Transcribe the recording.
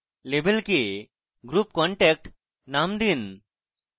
label কে group contact name দিন